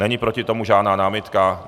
Není proti tomu žádná námitka?